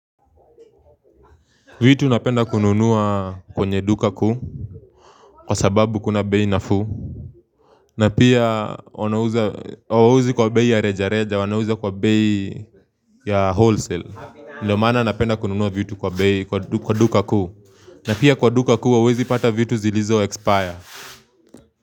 Vitu napenda kununua kwenye duka kuu Kwa sababu kuna bei nafuu na pia wanauza hawauzi kwa bei ya rejareja wanauza kwa bei ya wholesale Ndio maana napenda kununua vitu kwa bei kwa duka kuu na pia kwa duka kuu hauwezi pata vitu zilizoexpire.